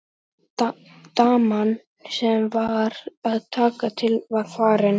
Daman sem var að taka til var farin.